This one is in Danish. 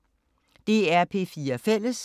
DR P4 Fælles